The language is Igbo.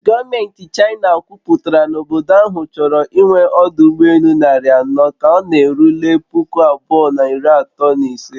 Gọọmenti China kwuputara na obodo ahụ chọrọ ịnwe ọdụ ụgbọ elu narị anọ ka ọ na-erule puku abụọ na iri atọ na ise